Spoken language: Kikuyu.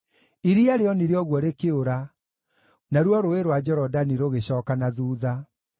Iria rĩonire ũguo rĩkĩũra, naruo Rũũĩ rwa Jorodani rũgĩcooka na thuutha;